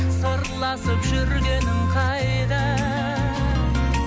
сырласып жүргенің қайда